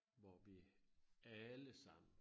Hvor vi alle sammen